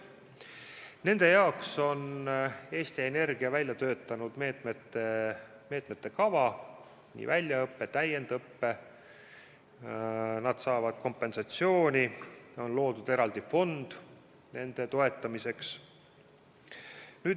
Nende jaoks on Eesti Energia välja töötanud meetmete kava, on nii väljaõpe kui ka täiendõpe, nad saavad kompensatsiooni, on loodud eraldi fond nende toetamiseks.